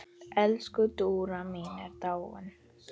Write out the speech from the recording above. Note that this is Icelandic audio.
Elsku Dúra mín er dáin.